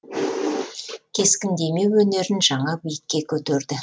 кескіндеме өнерін жаңа биікке көтерді